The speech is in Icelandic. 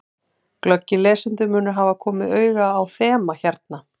Glöggir lesendur munu hafa komið auga á þema hérna.